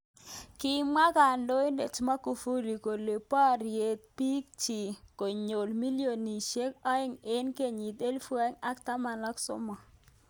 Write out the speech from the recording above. Kimwa kandoinet Magufuli kole borye bik chik konyi milionishek aeng eng kenyit elibu aeng ak tamnawakik aeng.